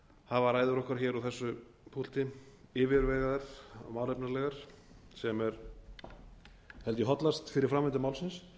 hafa ræður okkar hér á þessu púlti yfirvegaðar og málefnalegar sem er held ég hollast fyrir framvindu málsins